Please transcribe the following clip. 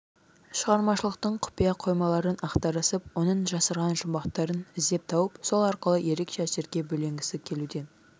шығармашылықтың құпия қоймаларын ақтарысып оның жасырған жұмбақтарын іздеп тауып сол арқылы ерекше әсерге бөленгісі келуден